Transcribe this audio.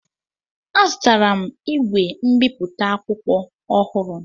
Azụtara m igwe mbipụta akwụkwọ ọhụrụ